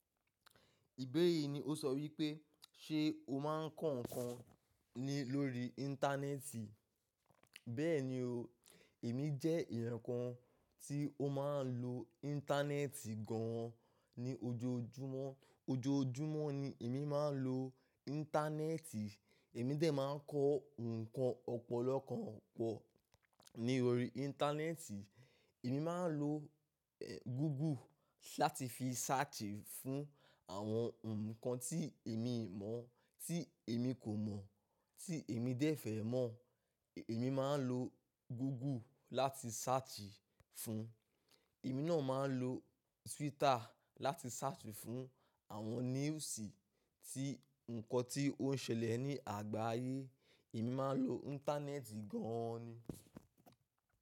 Ìbéèrè yìí ni ó sọ wípé, ṣe ó máa ń kọ ǹkan ni lórí Íńtánẹ́ẹ̀tì? Bẹ́ẹ̀ni o, èmi jẹ́ èèyàn kan tí ó máa ń lo Íńtánẹ́ẹ̀tì gan an ní ojoojúmọ́. Ojoojúmọ́ ni èmi máa ń lo Íńtánẹ́ẹ̀tì, èmi dé máa ń kọ ǹkan ọ̀pọ̀lọpọ̀ kan pọ̀ ní orí Íńtánẹ́ẹ̀tì. Èmi máa ń lo Google láti fi search fún àwọn ǹkan tí èmi kò mọ̀ tí èmi dẹ̀ fẹ́ mọ̀. Èmi máa ń lo Google láti search fún. Èmi náà máa ń lo Twitter láti search fún àwọn newsì tí ǹkan tí ó ń ṣẹlẹ̀ ní àgbáyé, èmi máa ń lo Íńtánẹ́ẹ̀tì gan an ni.